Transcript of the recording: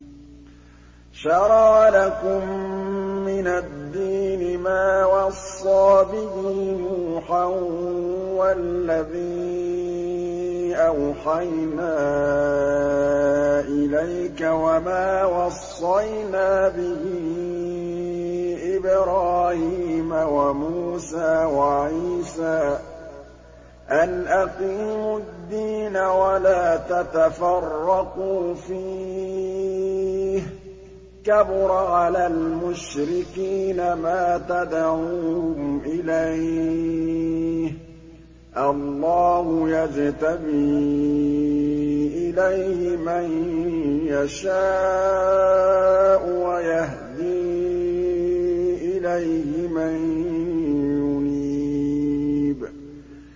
۞ شَرَعَ لَكُم مِّنَ الدِّينِ مَا وَصَّىٰ بِهِ نُوحًا وَالَّذِي أَوْحَيْنَا إِلَيْكَ وَمَا وَصَّيْنَا بِهِ إِبْرَاهِيمَ وَمُوسَىٰ وَعِيسَىٰ ۖ أَنْ أَقِيمُوا الدِّينَ وَلَا تَتَفَرَّقُوا فِيهِ ۚ كَبُرَ عَلَى الْمُشْرِكِينَ مَا تَدْعُوهُمْ إِلَيْهِ ۚ اللَّهُ يَجْتَبِي إِلَيْهِ مَن يَشَاءُ وَيَهْدِي إِلَيْهِ مَن يُنِيبُ